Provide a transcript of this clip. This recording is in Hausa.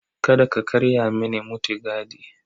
Kada ka karya mini mutigadi.